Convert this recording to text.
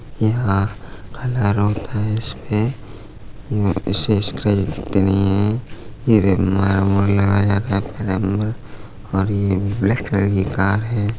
यहाँ कलर होता है इसपे इससे स्क्रैच दिखते नहीं और ये ब्लैक कलर की कार है।